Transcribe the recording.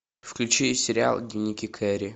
включи сериал дневники кэрри